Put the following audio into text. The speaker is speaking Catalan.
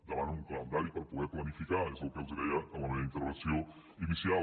demanen un calendari per poder planificar és el que els deia en la meva intervenció inicial